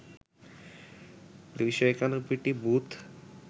২৯১টি booth